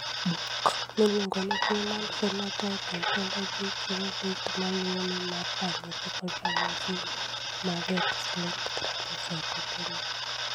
Buk miluongo ni Human Phenotype Ontology chiwo list ma luwoni mar ranyisi kod ranyisi mag X-linked thrombocytopenia.